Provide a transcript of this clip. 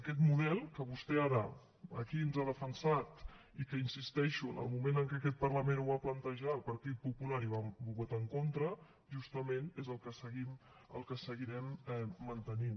aquest model que vostè ara aquí ens ha defensat i que hi insisteixo en el moment en què aquest parlament el va plantejar el partit popular hi va votar en contra justament és el que seguirem mantenint